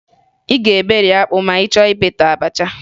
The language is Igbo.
Ị ga-eberi akpụ ma ị chọọ imeta abacha